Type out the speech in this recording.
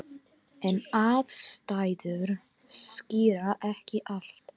En aðstæður skýra ekki allt.